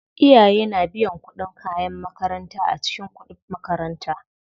Iyaye na biyan kuɗin kayan makaranta a cikin kuɗib makaranta.